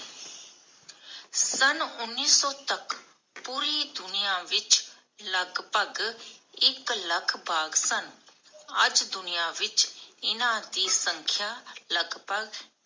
ਸਨ ਉਨੀ ਸੌ ਤੱਕ ਪੂਰੀ ਦੁਨੀਆਂ ਵਿਚ ਲਗਭਗ ਇਕ ਲੱਖ ਬਾਘ ਸਨ ਅੱਜ ਦੁਨੀਆਂ ਵਿਚ ਇਨ੍ਹਾਂ ਦੀ ਸੰਖ੍ਯਾ ਲਗਭਗ